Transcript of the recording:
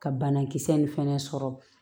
Ka banakisɛ nin fɛnɛ sɔrɔ